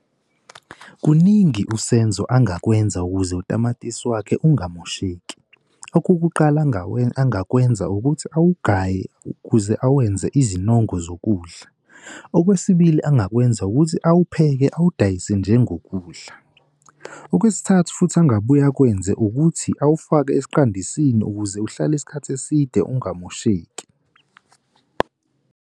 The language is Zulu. Kuningi uSenzo angakwenza ukuze utamatisi wakhe angamosheki. Okokuqala angawenza ukuthi awugaye ukuze awenze izinongo zokudla. Okwesibili, engakwenza ukuthi awuphele, awadayise njengokudla. Okwesithathu futhi angabuye akwenze ukuthi awufake esiqandisini ukuze uhlale isikhathi eside angamosheki.